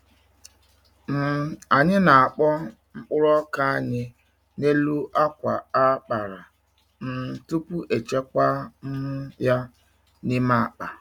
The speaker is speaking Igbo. um Anyị na-akpọ mkpụrụ ọka anyị n’elu akwa a kpara um tupu echekwa um ya n’ime akpa.